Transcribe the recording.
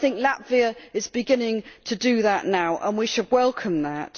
I think Latvia is beginning to do that now, and we should welcome that.